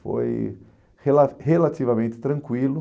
Foi rela relativamente tranquilo.